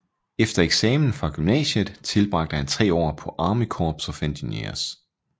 Efter eksamen fra gymnasiet tilbragte han tre år på Army Corps of Engineers